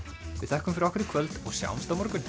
við þökkum fyrir okkur í kvöld og sjáumst á morgun